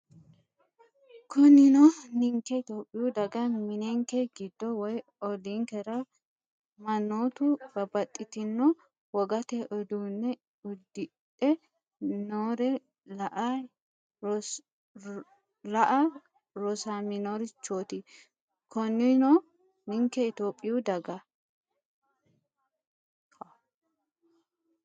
Konninnino ninke Itophiyu daga mininke giddo woy olliinkera mannootu babbaxxitino wogate uduunne uddidhe noore la”a rosaminorichooti Konninnino ninke Itophiyu daga.